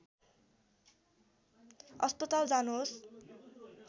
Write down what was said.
अस्पताल जानुहोस्